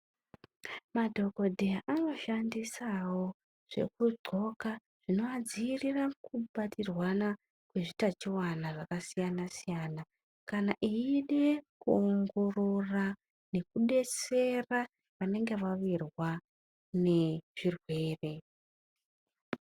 Madhogodheya anoshandisawo zvekudhloka zvinoadziirira kubatirwana kwezviutachiwana zvakasiyana siyana kana eide kuongorora nekudetsera vanenge vawirwa nezvirwere.